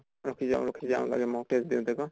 ৰখি যাওঁ ৰখি যাওঁ লাগে mock test দিওঁতে আকৌ ।